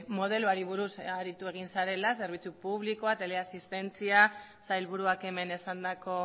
modeloari buruz aritu egin zarela zerbitzu publikoa teleasistentzia sailburuak hemen esandako